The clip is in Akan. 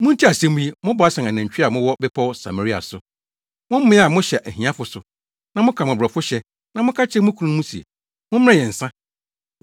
Muntie asɛm yi, mo Basan “anantwi” a mowɔ Bepɔw Samaria so, mo mmea a mohyɛ ahiafo so, na moka mmɔborɔfo hyɛ na moka kyerɛ mo kununom se, “Mommrɛ yɛn nsa!”